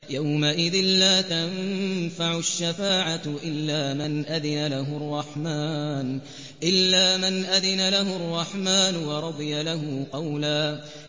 يَوْمَئِذٍ لَّا تَنفَعُ الشَّفَاعَةُ إِلَّا مَنْ أَذِنَ لَهُ الرَّحْمَٰنُ وَرَضِيَ لَهُ قَوْلًا